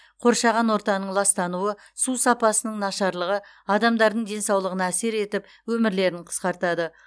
қоршаған ортаның ластануы су сапасының нашарлығы адамдардың денсаулығына әсер етіп өмірлерін қысқартады